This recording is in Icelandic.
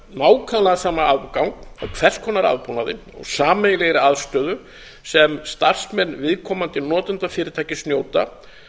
nákvæmlega sama aðgang að hvers konar aðbúnaði og sameiginlegri aðstöðu sem starfsmenn viðkomandi notendafyrirtækis njóta